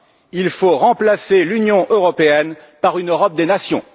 Il faut remplacer l'Union européenne par une Europe des nations.